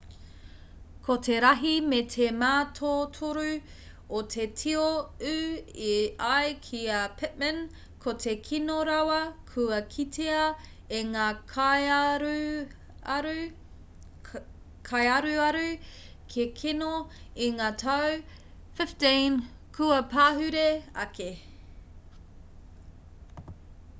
ko te rahi me te mātotoru o te tio ū e ai ki a pittman ko te kino rawa kua kitea e ngā kaiaruaru kēkeno i ngā tau 15 kua pahure ake